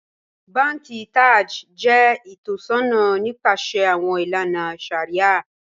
Bànkì Taj jẹ itọ̀ṣọna nipasẹ̀ awọn ilànà shàríà.